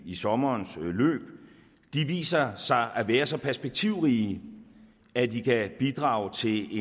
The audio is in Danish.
i sommerens løb viser sig at være så perspektivrige at de kan bidrage til